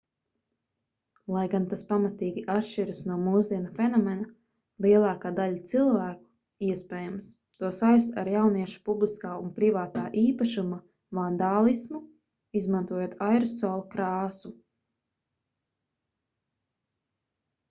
lai gan tas pamatīgi atšķiras no mūsdienu fenomena lielākā daļa cilvēku iespējams to saista ar jauniešu publiskā un privātā īpašuma vandālismu izmantojot aerosola krāsu